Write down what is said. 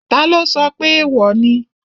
Taló sọ pé èèwò ni?